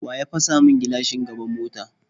Waye ya fasa min gilashin gaban mota?